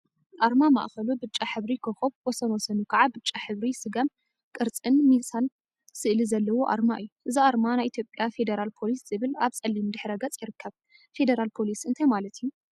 አርማ ማእከሉ ብጫ ሕብሪ ኮኮብ ወሰን ወሰኑ ከዓ ብጫ ሕብሪ ስገም ቅርፂን ሚዛን ስእሊ ዘለዎ አርማ እዩ፡፡ እዚ አርማ ናይ ኢትዮጵያ ፌደራል ፓሊስ ዝብል አብ ፀሊም ድሕረ ገፅ ይርከብ፡፡ ፌደራል ፖሊስ እንታይ ማለት እዩ?